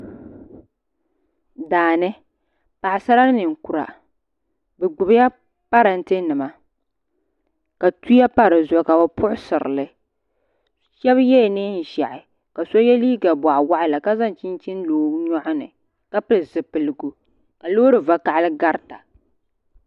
Daa ni paɣisara ni ninkura bi gbubila paranntɛ nima ka tuya pa di zuɣu ka bi puɣisiri li shɛba yɛla nɛɛn zɛhi ka so yiɛ liiga bɔɣi wɔɣila ka zaŋ chinchini lo o yɔɣu ni ka pili zupiligu ka loori vakahali garita.